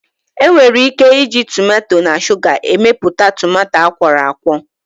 Enwere ike iji tomato na shuga emepụta tomato akwọrọakwọ